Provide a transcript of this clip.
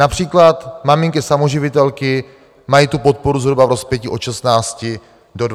Například maminky samoživitelky mají tu podporu zhruba v rozpětí od 16 do 29 tisíc korun.